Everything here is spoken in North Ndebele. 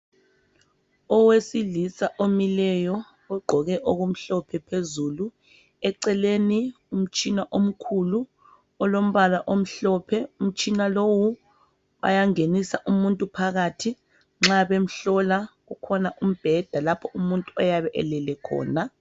Owesilisa omileyo ogqoke okumhlophe phezulu eceleni umtshina omkhulu olombala omhlophe umtshina lowu bayangenisa umuntu phakathi nxa bemhlola ukhona umbheda lapho umuntu oyabe elele khona.